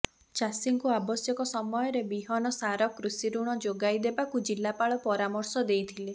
ଚାଷୀଙ୍କୁ ଆବଶ୍ୟକ ସମୟରେ ବିହନ ସାର କୃଷିଋଣ ଯୋଗାଇ ଦେବାକୁ ଜିଲ୍ଲାପାଳ ପରାମର୍ଶ ଦେଇଥିଲେ